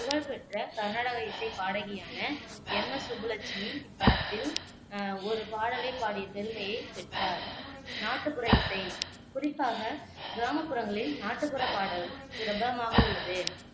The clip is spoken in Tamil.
புகழ்பெற்ற கர்நாடக இசைப் பாடகியான எம் எஸ் சுப்புலட்சுமி, இப்படத்தில் அஹ் ஒரு பாடலைப் பாடிய பெருமையைப் பெற்றார் நாட்டுப்புற இசை குறிப்பாக கிராமப்புறங்களில் நாட்டுப்புற பாடல் பிரபலமாக உள்ளது